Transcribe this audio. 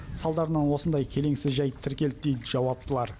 салдарынан осындай келеңсіз жәйт тіркелді дейді жауаптылар